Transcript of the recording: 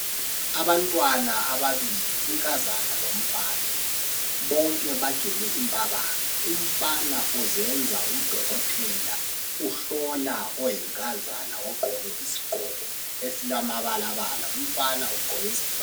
Abantwana ababili unkazana lomfana bonke bagele impabanga. Umfana uzenza udokotela uhlola oyinkazana ogqoke isigqoko esilamabalabala umfana ugqoke isikipa.